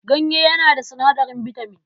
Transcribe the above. Ganye yana da sinadarin bitaman.